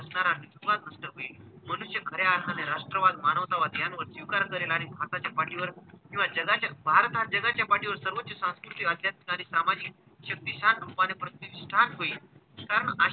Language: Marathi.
नष्ट होईल. मनुष्य खऱ्या अर्थाने राष्ट्रवाद, मानवतावाद यावर स्वीकार करेल आणि भारताच्या पाठीवर किंवा जगाच्या भारत हा जगाच्या पाठीवर सर्वोच्च सांस्कृतिक, आध्यात्मिक आणि सामाजिक शक्तीच्या रूपाने प्रत्येक start होईल.